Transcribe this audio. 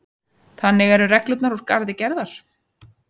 Þannig eru reglurnar úr garði gerðar